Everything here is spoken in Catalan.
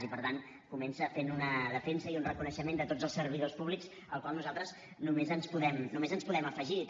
i per tant comença fent una defensa i un reconeixement de tots els servidors públics al qual nosaltres només ens podem afegir també